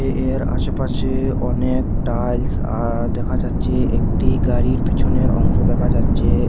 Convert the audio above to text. এর আশেপাশে অনেক টাইলস আঃ দেখা যাচ্ছে একটি গাড়ির পিছনের অংশ দেখা যাচ্চে এব--